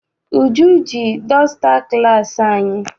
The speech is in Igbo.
Uju ji dọsta class anyị.